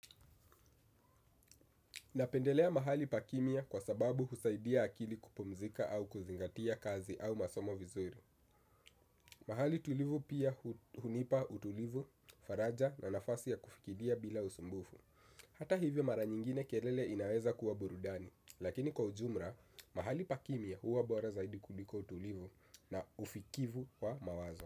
Napendelea mahali pa kimya kwa sababu husaidia akili kupumzika au kuzingatia kazi au masomo vizuri. Mahali tulivu pia hunipa utulivu, faraja na nafasi ya kufikidia bila usumbufu. Hata hivyo mara nyingine kelele inaweza kuwa burudani. Lakini kwa ujumla, mahali pa kimya huwa bora zaidi kuliko utulivu na ufikivu wa mawazo.